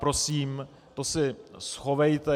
Prosím, to si schovejte.